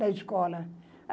Da escola.